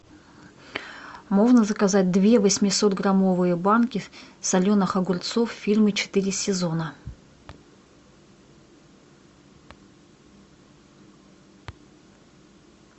можно заказать две восемьсот граммовые банки соленых огурцов фирмы четыре сезона